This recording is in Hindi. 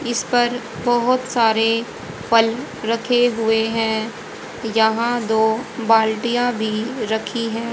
इस पर बहुत सारे फल रखे हुए हैं यहां दो बाल्टियां भी रखी हैं।